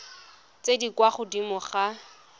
tse di kwa godimo ga